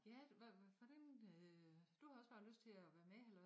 Ja hvor hvordan øh du havde også bare lyst til at være med eller hvad